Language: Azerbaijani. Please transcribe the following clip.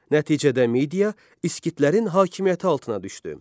Nəticədə Midiya İskitlərin hakimiyyəti altına düşdü.